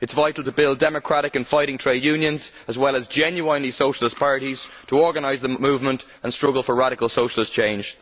It is vital to build democratic and fighting trade unions, as well as genuinely socialist parties to organise the movement and struggle for radical socialist change.